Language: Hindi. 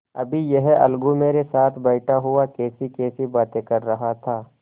अभी यह अलगू मेरे साथ बैठा हुआ कैसीकैसी बातें कर रहा था